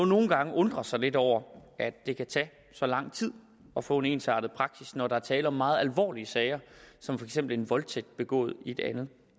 nogle gange undre sig lidt over at det kan tage så lang tid at få en ensartet praksis når der er tale om meget alvorlige sager som for eksempel en voldtægt begået i et andet